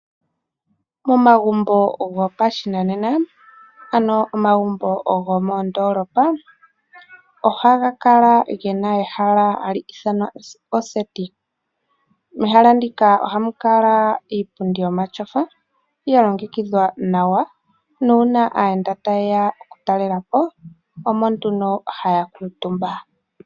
Momagumbo gopashinanena, ano momagumbo gomondoolopa ohaga kala ge na ehala hali ithanwa oseti. Mehala muka ohamu kala iipundi yomatyofa ya longekidhwa nawa, nuuna aayenda taye ya okutalela po omo nduno haya kuutumba.